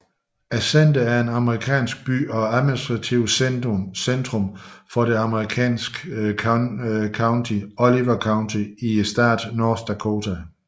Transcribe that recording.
Center er en amerikansk by og administrativt centrum for det amerikanske county Oliver County i staten North Dakota